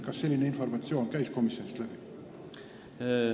Kas selline informatsioon käis komisjonist läbi?